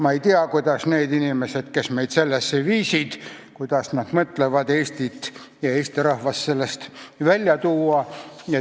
Ma ei tea, kuidas need inimesed, kes meid sellesse viisid, mõtlevad Eesti riigi ja rahva sellest välja tuua.